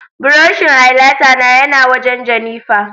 buroshin highlighter na ya na wajen Jennifer